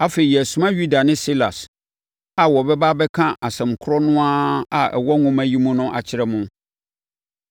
Afei, yɛresoma Yuda ne Silas a wɔbɛba abɛka asɛm korɔ no ara a ɛwɔ nwoma yi mu no akyerɛ mo.